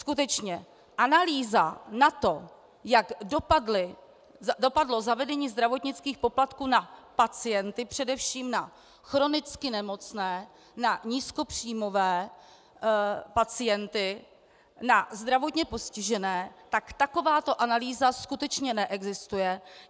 Skutečně, analýza na to, jak dopadlo zavedení zdravotnických poplatků na pacienty, především na chronicky nemocné, na nízkopříjmové pacienty, na zdravotně postižené, tak takováto analýza skutečně neexistuje.